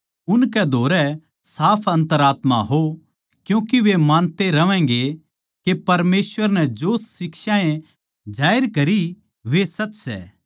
उनकै धोरै साफ अन्तरात्मा का हो क्यूँके वे मानते रहवैंगे के परमेसवर नै जो शिक्षाएँ जाहिर करी वे सच सै